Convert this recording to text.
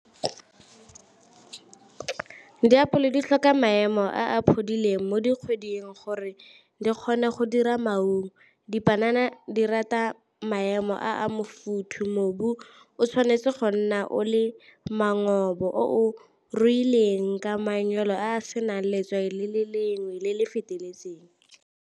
Diapole di tlhoka maemo a a mo dikgweding gore le kgone go dira maungo. Dipanana di rata maemo a , mobu o tshwanetse go nna o le o o ruileng ka manyalo a a senang letswai le le lengwe le le feteletseng.